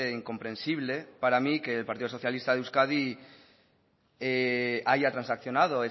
incomprensible para mí que el partido socialista de euskadi haya transaccionado